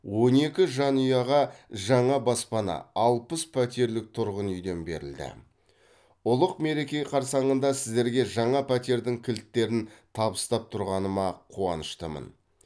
он екі жанұяға жаңа баспана алпыс пәтерлік тұрғын үйден берілді ұлық мереке қарсаңында сіздерге жаңа пәтердің кілттерін табыстап тұрғаныма қуаныштымын